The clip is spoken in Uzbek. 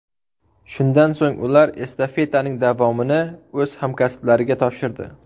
Shundan so‘ng ular estafetaning davomini o‘z hamkasblariga topshirdi.